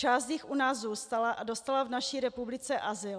Část jich u nás zůstala a dostala v naší republice azyl.